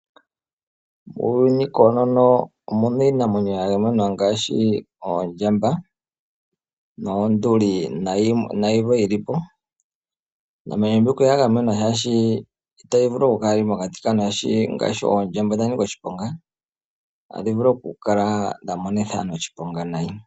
Muuyuni koonono omuna iinamwenyo ya gamenwa ngaashi oondjamba noonduli nayilwe yilipo . Iinamwenyo mbika oya gamenwa oshoka itayi vulu okukala yili mokati kaantu oshoka ngaashi oondjamba odha nika oshiponga otadhi vulu okukala dha monitha aantu oshiponga nayi.